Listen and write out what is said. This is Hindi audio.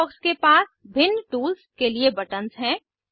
टूलबॉक्स के पास भिन्न टूल्स के लिए बटन्स हैं